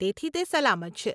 તેથી તે સલામત છે.